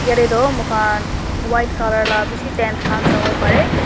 tae toh mokhan white colour la bishi tent khan sawo parae.